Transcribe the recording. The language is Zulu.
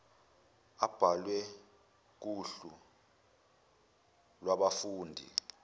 abhalwe kuhlu lwabafundi